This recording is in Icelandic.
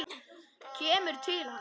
Kemur til hans.